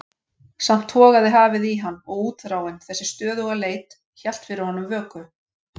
Samt togaði hafið í hann og útþráin, þessi stöðuga leit, hélt fyrir honum vöku.